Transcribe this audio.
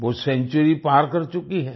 वो सेंचुरी पार कर चुकी हैं